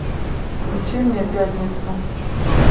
включи мне пятницу